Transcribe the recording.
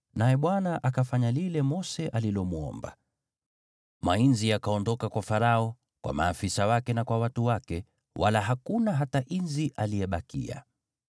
naye Bwana akafanya lile Mose alilomwomba. Mainzi yakaondoka kwa Farao, kwa maafisa wake na kwa watu wake, wala hakuna hata inzi aliyebakia.